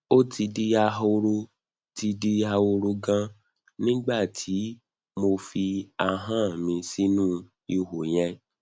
ó ti di ahoro ti di ahoro ganan nígbà tí mo fi ahọn mi sínú ihò yẹn